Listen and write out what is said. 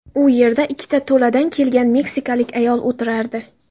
U yerda ikkita to‘ladan kelgan meksikalik ayol o‘tirardi.